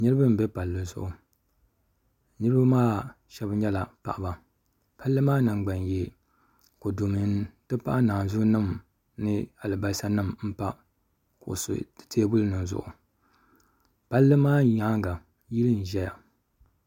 Niraba n bɛ palli zuɣu bi shab nyɛla paɣaba palli maa nangbani yee kodu nima n ti pahi alibarisa nim n pa teebuli zuɣu palli maa nyaanga yili n ʒɛya